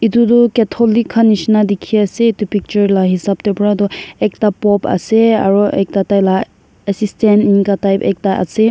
Etu tuh Catholic khan nehsina dekhey ase etu picture la hesab tae para tuh ekta Pope ase aro ekta taila assistant enika type ekta ase.